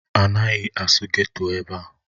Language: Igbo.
Anaghị asụ geto ebe a!